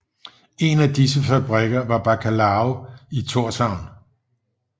En af disse fabrikker var Bacalao i Tórshavn